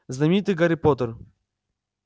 знаменитый гарри поттер